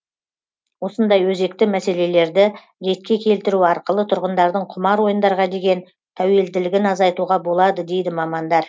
осындай өзекті мәселелерді ретке келтіру арқылы тұрғындардың құмар ойындарға деген тәуелділігін азайтуға болады дейді мамандар